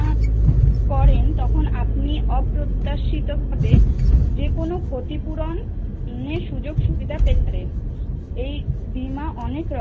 বিমা করেন তখন আপনি অপ্রত্যাশিত ভাবে যে কোনও ক্ষতিপূরণ নিয়ে সুযোগ সুবিধা পেতে পারেন। এই বিমা